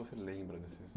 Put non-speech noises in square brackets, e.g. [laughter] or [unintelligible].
Você lembra? [unintelligible]